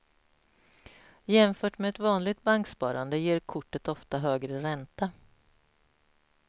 Jämfört med ett vanligt banksparande ger kortet ofta högre ränta.